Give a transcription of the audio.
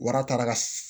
Waratara ka